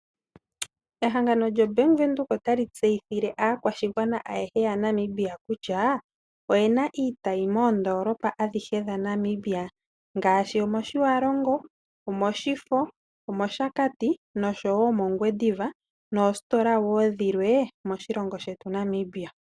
Ehangano lyo Bank Windhoek otali tseyithile aakwashigwana ayehe ya Namibia kutya oyena iitayi moondoolopa adhihe dha Namibia ngaashi, Otjiwaro go, Oshakati, Oshifo osho woo mOngwediva moositola woo dhilwe moshilongo shetu Namibia.